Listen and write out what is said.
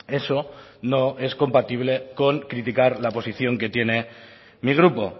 eso no es compatible con criticar la posición que tiene mi grupo